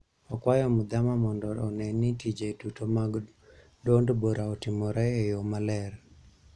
Okwayo Muthama mondo one ni tije duto mag duond bura otimore e yoo maler